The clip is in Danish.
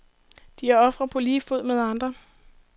De er ofre på lige fod med andre.